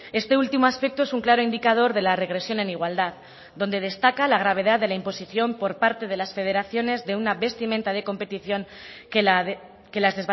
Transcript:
este último aspecto es un claro indicador de la regresión en igualdad donde destaca la gravedad de la imposición por parte de las federaciones de una vestimenta de competición que las